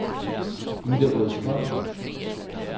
Hillerødsholm